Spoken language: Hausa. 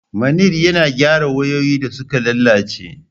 Manir yana gyara wayoyi da suka lalace.